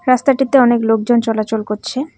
রাস্তাটিতে অনেক লোকজন চলাচল করছে।